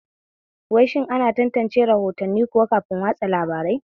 Wai shin ana tantance rahotanni kuwa kafin watsa labarai?